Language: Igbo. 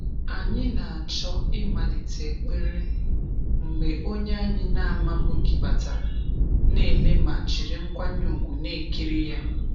Anyị na-achọ ịmalite ekpere mgbe onye anyị na-amabughị batara, na ele ma jiri nkwanye ùgwù na-ekiri ya.